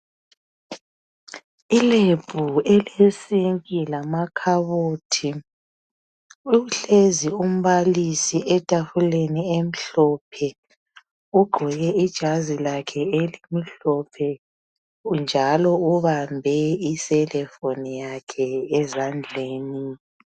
I Lab elesinki lamakhabothi. Uhlezi umbalisi etafuleni emhlophe. Ugqoke ijazi lakhe elimhlophe njalo ubambe icellphone yakhe ezandleni.